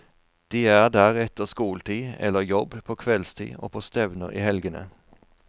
De er der etter skoletid eller jobb på kveldstid og på stevner i helgene.